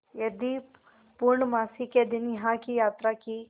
यदि पूर्णमासी के दिन यहाँ की यात्रा की